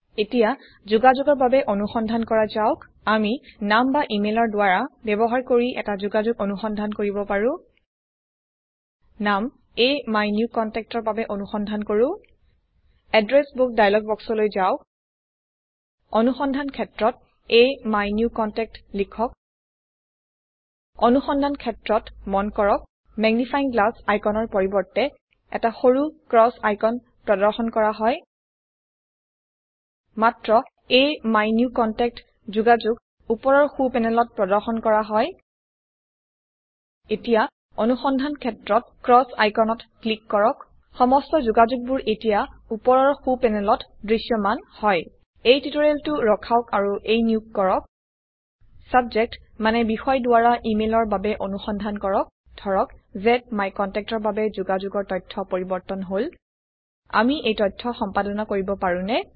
এতিয়া যোগাযোগৰ বাবে অনুসন্ধান কৰা যাওক আমি নাম বা ইমেলৰ দ্ৱাৰা ব্যবহাৰ কৰি এটি যোগাযোগ অনুসন্ধান কৰিব পাৰো নাম এমিনিউকণ্টেক্ট ৰ বাবে অনুসন্ধান কৰো এড্ৰেছ বুক ডায়লগ বক্সলৈ যাওক অনুসন্ধান ক্ষেত্ৰত এমিনিউকণ্টেক্ট লিখক অনুসন্ধান ক্ষেত্ৰ মন কৰক মেগনিফাইং গ্লাছ আইকন ৰ পৰিবৰ্তে এটি সৰু ক্ৰস আইকন প্ৰদৰ্শন কৰা হয় মাত্ৰ এমিনিউকণ্টেক্ট যোগাযোগ উপৰৰ সো প্যানেলত প্ৰদৰ্শন কৰা হয় এতিয়া অনুসন্ধান ক্ষেত্ৰত ক্ৰস আইকনত ক্লিক কৰক সমস্ত যোগাযোগবোৰ এতিয়া উপৰৰ সো প্যানেলত দৃশ্যমান হয় এই টিউটোৰিয়েলটো ৰখাওক আৰু এই নিয়োগ কৰক ছাবজেক্ট মানে বিষয় দ্বাৰা ইমেলৰ বাবে অনুসন্ধান কৰক ধৰক জ্মাইকণ্টেক্ট ৰ বাবে যোগাযোগৰ তথ্য পৰিবৰ্তন হল আমি এই তথ্য সম্পাদনা কৰিব পাৰোনে